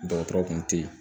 Dɔgɔtɔrɔ kun tɛ yen